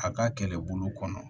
A ka kɛlɛbolo kɔnɔ